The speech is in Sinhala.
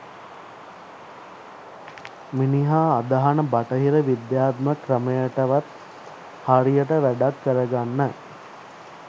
මිනිහා අදහන බටහිර විද්‍යාත්මක ක්‍රමයටවත් හරියට වැඩක් කරගන්න